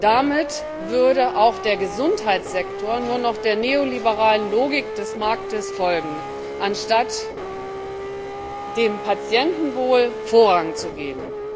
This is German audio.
Damit würde auch der Gesundheitssektor nur noch der neoliberalen Logik des Marktes folgen, anstatt dem Patientenwohl Vorrang zu geben.